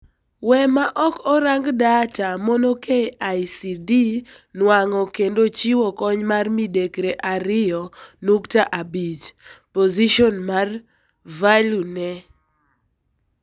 Wek ma ok orang data mono KICD nuang'o kendo chiwo kony mar midekre ariyo nukta abich .Position mar value ne.